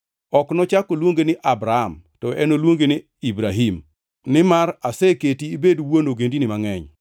Ok nochak oluongi ni Abram; to enoluongi ni Ibrahim, nimar aseketi ibedo wuon ogendini mangʼeny.